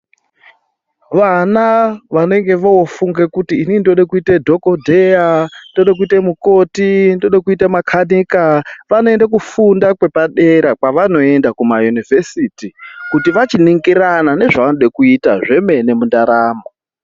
Vana vanonge voofunge khuti inini ndode khuite dhokhoteya, ndode khuite mukhoti, ndode khuita makhatekha vanoende khufunda kwepadera kwavanoenda khumayunivhesiti kuti vachiningirana nezvavanode khuita zvemene mundaramo